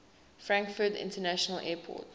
frankfurt international airport